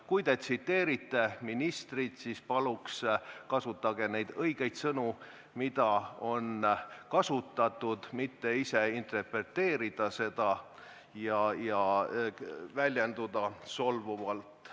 Kui te tsiteerite ministrit, siis palun kasutage õigeid sõnu, mida on kasutatud, ärge ise interpreteerige ega väljenduge solvavalt.